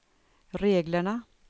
reglerna